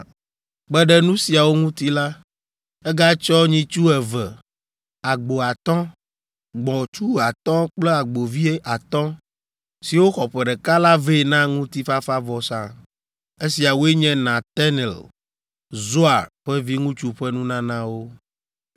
Kpe ɖe nu siawo ŋuti la, egatsɔ nyitsu eve, agbo atɔ̃, gbɔ̃tsu atɔ̃ kple agbovi atɔ̃, siwo xɔ ƒe ɖeka la vɛ na ŋutifafavɔsa. Esiawoe nye Netanel, Zuar ƒe viŋutsu ƒe nunanawo.